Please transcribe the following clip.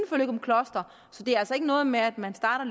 løgumkloster så det er altså ikke noget med at man starter